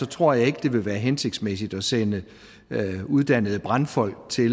tror jeg ikke at det vil være hensigtsmæssigt at sætte uddannede brandfolk til